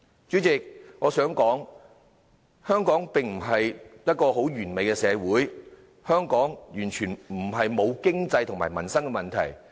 主席，我想說香港並非一個完美的社會，香港並非完全沒有經濟和民生的問題。